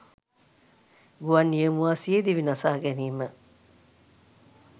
ගුවන් නියමුවා සියදිවි නසා ගැනීම